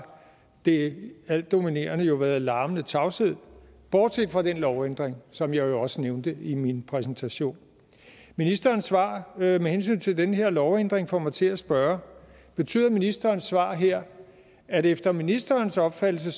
det altdominerende jo været larmende tavshed bortset fra den lovændring som jeg også nævnte i min præsentation ministerens svar med hensyn til den her lovændring får mig til at spørge betyder ministerens svar her at der efter ministerens opfattelse